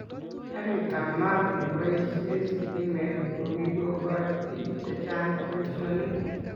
Karit ab maat neboishee stimet kokikokoch bik che chang boishonik